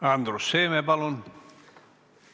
Andrus Seeme, palun!